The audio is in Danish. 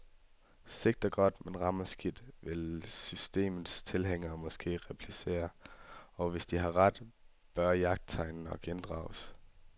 Sigter godt, men rammer skidt vil systemets tilhængere måske replicere, og hvis de har ret, bør mit jagttegn nok inddrages.